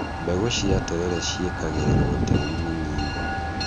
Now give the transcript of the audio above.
mbegũ cia terere ciĩkagĩrĩrwo tĩrĩ mũnini.